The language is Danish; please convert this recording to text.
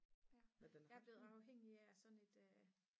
jeg er blevet afhængig af sådan et